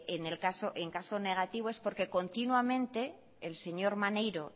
en caso negativo es porque continuamente el señor maneiro